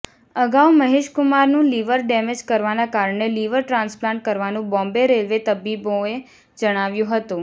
અગાઉ મહેશકુમારનું liver damage કરવાના કારણે લિવર ટ્રાન્સપ્લાન્ટ કરવાનું બોમ્બે રેલ્વે તબીબોએ જણાવ્યું હતું